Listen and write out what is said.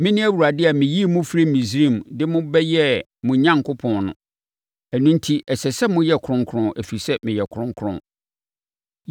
Mene Awurade a meyii mo firii Misraim de mo bɛyɛɛ mo Onyankopɔn no. Ɛno enti, ɛsɛ sɛ moyɛ kronkron, ɛfiri sɛ, meyɛ kronkron.